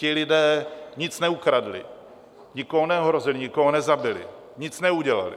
Ti lidé nic neukradli, nikoho neohrozili, nikoho nezabili, nic neudělali.